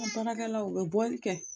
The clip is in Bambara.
An baarakɛlawl u bɛ bɔli kɛ